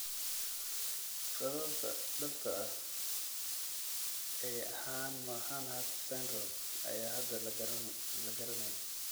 Sababta dhabta ah ee dhabta ah ee Hanhart syndrome ayaan hadda la garanayn.